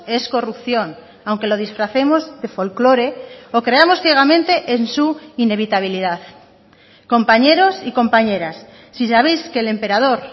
es corrupción aunque lo disfracemos de folklore o creamos ciegamente en su inevitabilidad compañeros y compañeras si sabéis que el emperador